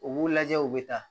U b'u lajɛ u bɛ taa